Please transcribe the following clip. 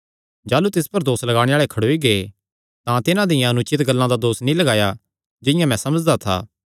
जाह़लू तिस पर दोस लगाणे आल़े खड़ोई गै तां तिन्हां दियां अनुचित गल्लां दा दोस नीं लगाया जिंआं मैं समझदा था